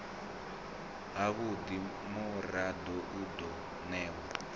havhudi murado u do newa